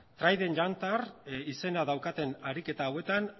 trident juncture izena daukaten ariketa hauetan